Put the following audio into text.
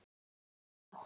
Hefði átt